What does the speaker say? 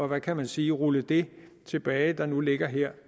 hvad kan man sige rulle det tilbage der nu ligger her